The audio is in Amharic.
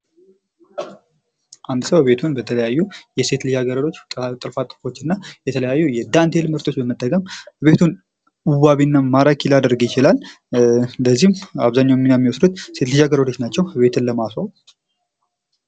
አንድ ሰው ቤቱን በተለያዩ የሴት ልጃገረዶች ጥልፍጥልፎች እና የተለያዩ ዳንቴል ምርቶች በመጠቀም ቤቱን ዋቢና ማራኪ ሊያደርግ ይችላል። እንደዚሁም አብዛኛውን ሚና የሚወስዱት ሴት ልጃገረዶች ናቸው። ቤትን ለማስዋብ።